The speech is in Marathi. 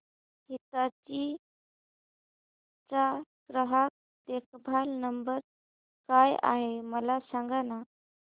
हिताची चा ग्राहक देखभाल नंबर काय आहे मला सांगाना